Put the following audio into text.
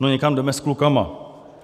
No někam jdeme s klukama.